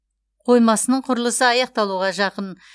қоймасының құрылысы аяқталуға жақын